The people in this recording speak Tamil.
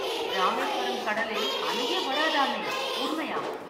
ராமேஸ்வரம் கடலில் அலையே வராதாமே, உண்மையா ?